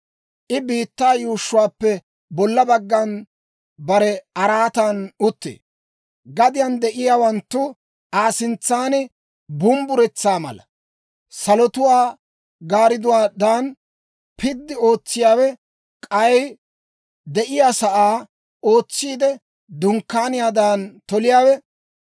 I biittaa yuushshuwaappe bolla baggan bare araatan uttee; gadiyaan de'iyaawanttu Aa sintsan bumbburetsaa mala. Salotuwaa gaaridduwaadan piddi ootsiyaawe, k'ay de'iyaasaa ootsiide, dunkkaaniyaadan toliyaawe,